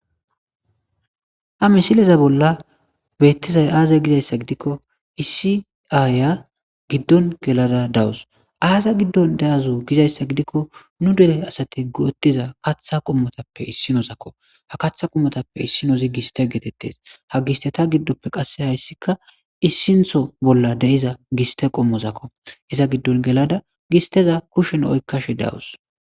Ha misileza bolla beettizay aazay gizayssa gidikko isiaaya giddon gelada dawus aaza giddon da,azu gizayssa gidikko nu dere asati go,otiza katha qommotappe issinozakko ha katha qummotappe issinozi giste geetettes ha giste ta giddoppe qasse hayssikka issintho bolla de,iza giste qommozakko iza giddon gelada gisteza kushen oykkashe dawus.